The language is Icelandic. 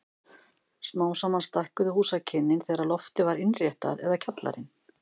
Smám saman stækkuðu húsakynnin þegar loftið var innréttað eða kjallarinn.